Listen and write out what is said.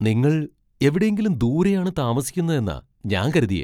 നിങ്ങൾ എവിടെയെങ്കിലും ദൂരെയാണ് താമസിക്കുന്നതെന്നാ ഞാൻ കരുതിയെ!